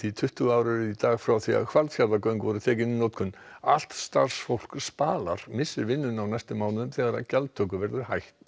tuttugu ár eru í dag frá því Hvalfjarðargöng voru tekin í notkun allt starfsfólk Spalar missir vinnuna á næstu mánuðum þegar gjaldtöku verður hætt